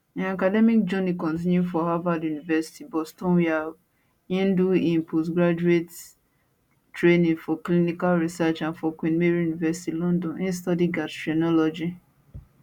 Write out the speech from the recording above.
im academic journey continue for harvard university bostonwia im do im postgraduate training for clinical research and for queen mary university london im study gastroenterology